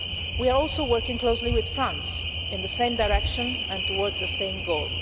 We are also working closely with France in the same direction and towards the same goal.